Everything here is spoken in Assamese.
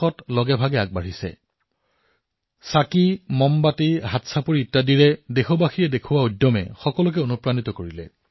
তালি থালি চাকি মমবাতি এই সমূহে যি ভাৱনাৰ উদ্ৰেক ঘটালে যি উৎসাহত দেশবাসীয়ে কিবা এটা কৰি দেখুওৱাৰ বাবে দৃঢ় প্ৰতিজ্ঞ হল প্ৰত্যেকেই ইয়াৰ দ্বাৰা অনুপ্ৰাণিত হৈছে